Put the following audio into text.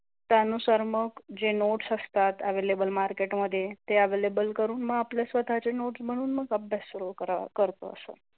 त्यानुसार मग जे नोट्स असतात एवेईलेबल मार्केटमध्ये ते एवेईलेबल करून मग आपले स्वतःचे नोट बनवून मग अभ्यास सुरू करतो अस.